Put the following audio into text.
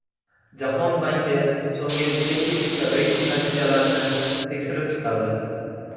Jahon banki so‘nggi besh yillik reyting natijalarini tekshirib chiqadi.